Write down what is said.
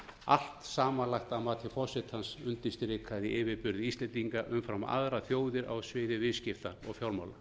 allt samanlagt að mati forsetans undirstrikaði yfirburði íslendinga umfram aðrar þjóðir á sviði viðskipta og fjármála